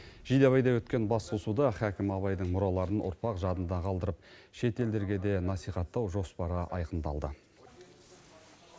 жидебайда өткен басқосуда хакім абайдың мұраларын ұрпақ жадында қалдырып шет елдерге де насихаттау жоспары айқындалды